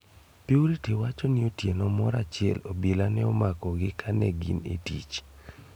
Purity wacho ni otieno moro achiel obila ne omakogi kanegin e tich.